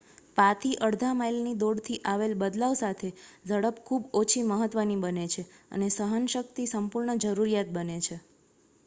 પા થી અડધા માઈલની દોડથી આવેલ બદલાવ સાથે ઝડપ ખૂબ ઓછી મહત્વની બને છે અને સહન શક્તિ સંપૂર્ણ જરૂરીયાત બને છે